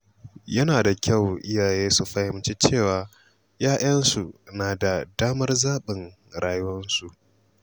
Yana da kyau iyaye su fahimci cewa ‘ya‘yansu na da damar zaɓin rayuwarsu.